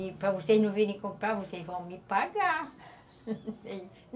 E para vocês não virem comprar, vocês vão me pagar